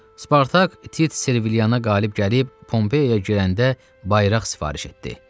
Spartak Tit Serviliyaya qalib gəlib Pompeyaya girəndə bayraq sifariş etdi.